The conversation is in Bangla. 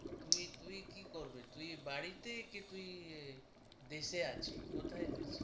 তুই তুই কী পড়বে তুই বাড়িতে কি তুই এ দেশে আছিস কোথায় গেছিস?